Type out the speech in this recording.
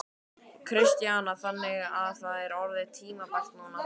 Kristjana: Þannig að það er orðið tímabært núna?